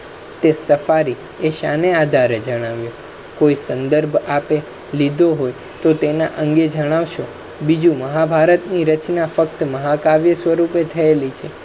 તે સફારી શાને આધારે જણાવે, કોઈ સંદભૅ આપે લીધુ હોય તો તેના આંગે જણાવશો બીજુ મહાભારત ની રચના ફક્ત મહાકાવ્ય સ્વરૂપે થયેલી છે